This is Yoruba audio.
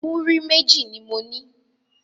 Muri meji ni mo ní